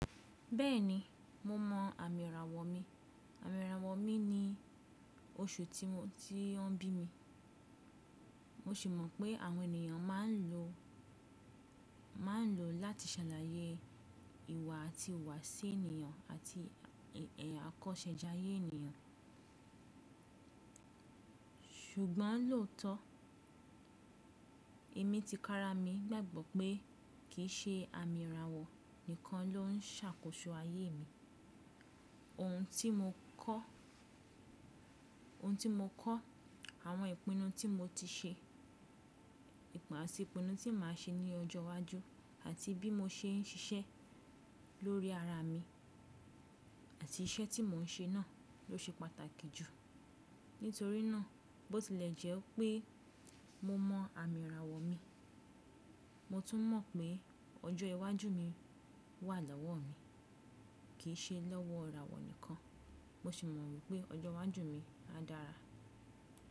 Bẹ́ẹ̀ni, mo mọ àmì ìràwọ̀ mi. Àmì ìràwọ̀ mi ni oṣù tí wọ́n bí mi. Mo sì mọ̀ pé àwọn ènìyàn máa ń lò ó láti ṣàlàyé ìwà àti ìwu wàsí ènìyàn àti ẹ̀ àkọsẹ́jáyé ènìyàn. Ṣùgbọ́n lóòótọ́, èmi ti kára mi gbàgbọ́ pé kì í ṣe àmì ìràwọ̀ nìkan ló ń ṣàkóso ayé mi. Ohun tí mo kọ́, àwọn ìpinnu tí mo ti ṣe àti ìpinnu tí màá ṣe ní ọjọ́ iwájú àti bí mo ṣe ń ṣiṣẹ́ lórí ara mi àti iṣẹ́ tí mò ń ṣe náà ló ṣe pàtàkì jù. Nítorí náà, bó tilẹ̀ jẹ́ pé mo mọ àmì ìràwọ̀ mi, mo tún mọ̀ pé ọjọ́ iwájú mi wà lọ́wọ́ mi, kì í ṣe lọ́wọ́ ìràwọ̀ nìkan. Mo sì mọ̀ wípé ọjọ́ iwájú mi á dára.